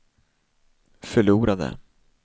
förlorade